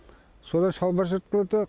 содан шалбар жыртылды